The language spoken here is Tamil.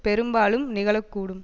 பெரும்பாலும் நிகழக்கூடும்